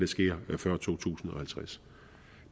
sker før to tusind og halvtreds